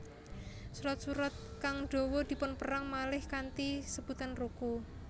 Surat surat kang dawa dipunperang malih kanthi sebutan ruku